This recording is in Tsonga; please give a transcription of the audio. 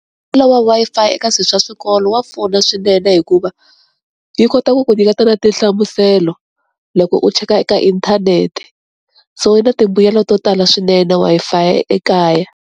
Mbuyelo wa Wi-Fi eka swi swa swikolo wa pfuna swinene hikuva yi kota ku ku nyiketa na tinhlamuselo loko u cheka eka inthanete, so yi na timbuyelo to tala swinene Wi-Fi ekaya.